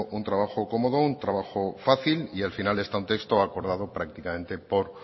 un trabajo cómodo un trabajo fácil y al final está un texto acordado prácticamente por